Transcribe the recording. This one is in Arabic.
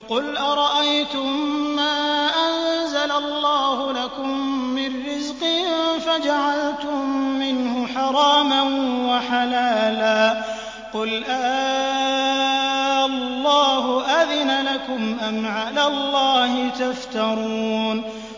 قُلْ أَرَأَيْتُم مَّا أَنزَلَ اللَّهُ لَكُم مِّن رِّزْقٍ فَجَعَلْتُم مِّنْهُ حَرَامًا وَحَلَالًا قُلْ آللَّهُ أَذِنَ لَكُمْ ۖ أَمْ عَلَى اللَّهِ تَفْتَرُونَ